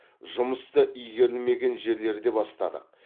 жұмысты игерілмеген жерлерде бастадық